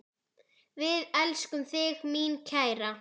Við elskum þig, mín kæra.